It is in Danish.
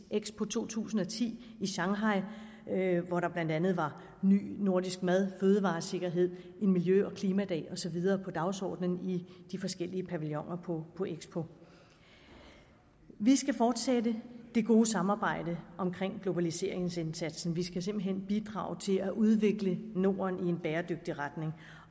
expo to tusind og ti i shanghai hvor der blandt andet var ny nordisk mad fødevaresikkerhed en miljø og klimadag og så videre på dagsordenen i de forskellige pavilloner på på expo vi skal fortsætte det gode samarbejde om globaliseringsindsatsen vi skal simpelt hen bidrage til at udvikle norden i en bæredygtig retning